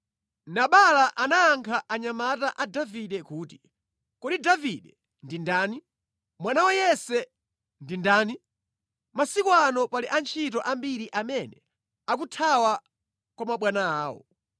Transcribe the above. Nabala anayankha anyamata a Davide kuti, “Kodi Davide ndi ndani? Mwana wa Yese ndi ndani? Masiku ano pali antchito ambiri amene akuthawa kwa mabwana awo.